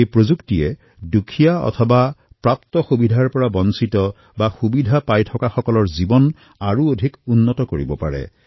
এই প্ৰযুক্তিৰ উপযোগিতা দাৰিদ্ৰ বঞ্চিত অথবা আৱশ্যক অনুভৱ কৰা লোকসকলৰ জীৱন উন্নতৰ কৰাত সহায় হব পাৰে